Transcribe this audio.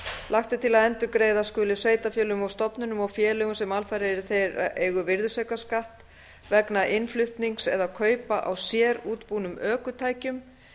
lagt er til að endurgreiða skuli sveitarfélögum og stofnunum og félögum sem alfarið eru í þeirra eigu virðisaukaskatt vegna innflutnings eða kaupa á sérútbúnum ökutækjum